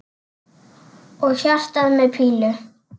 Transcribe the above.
Og hjarta með pílu!